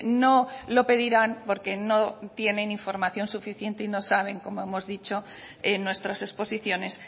no lo pedirán porque no tienen información suficiente y no saben como hemos dicho en nuestras exposiciones